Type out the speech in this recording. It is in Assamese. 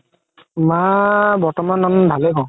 মা বৰ্তমান ভালে হয়